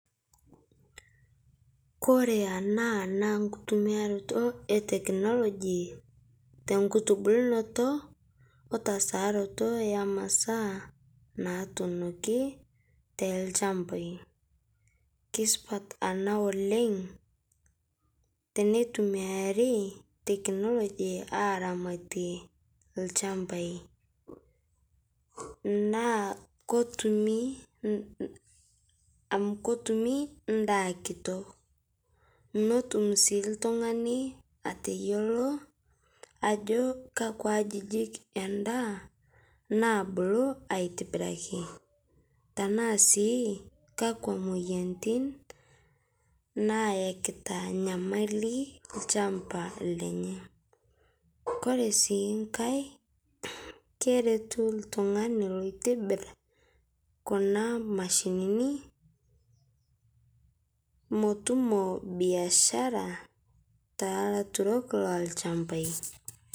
Kore ana naa nkutumiaroto e technology tonkutubulnoto otasaaroto emasaa natuunokii te lchampai. Keisupat ana oleng' teneitumiarii technology aramatie lchampai, naa kotumii, amu kotumii ndaa kitok. Notum sii ltung'ani ateyeltoo ajo kakwa ajijik endaa nabulu aitibiraki, tanaa sii kakwa moyanitin nayekitaa nyamali lchampa Lenye Kore sii ng'ai keretu ltung'ani loitibir Kuna mashininii motumo biashara te laturok lolshampai.